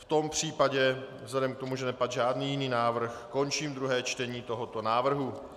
V tom případě, vzhledem k tomu, že nepadl žádný jiný návrh, končím druhé čtení tohoto návrhu.